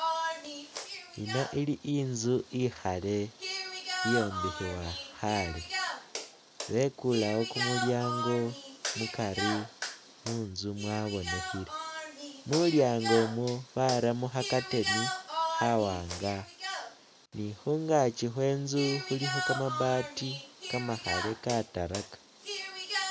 Yino ili inzu ikhaale iyombekhebwa khaale, bekulewo kumulyango mukari munzu mwabonekhile, mulyango umwo baramo kha curtain khawaanga ni khungaki khwe inzu khulikho kamabati kamakhale katalaka.